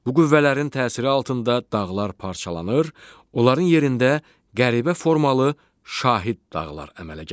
Bu qüvvələrin təsiri altında dağlar parçalanır, onların yerində qəribə formalı şahid dağlar əmələ gəlir.